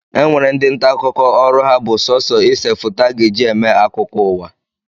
E nwere ndị nta akụkọ ọrụ ha bụ sọsọ ise foto a ga-eji eme akụkọ ụwa